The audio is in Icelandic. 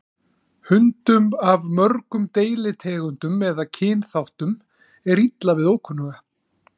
Hundum af mörgum deilitegundum eða kynþáttum er illa við ókunnuga.